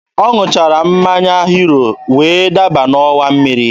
Ọ ṅụchara mmanya hiro wee daba n'ọwa mmiri